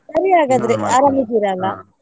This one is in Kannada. ಸರಿ ಹಾಗಾದ್ರೆ .